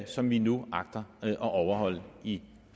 som vi nu agter at overholde i